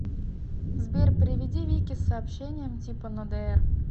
сбер переведи вике с сообщением типа на др